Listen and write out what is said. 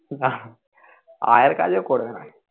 নাহ আয়ার কাজ ও করবেনা